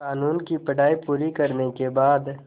क़ानून की पढा़ई पूरी करने के बाद